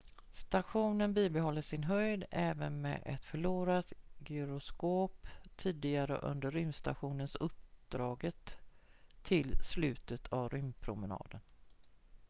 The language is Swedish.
stationen bibehåller sin höjd även med ett förlorat gyroskop tidigare under rymdstations-uppdraget tills slutet av rymdpromenaden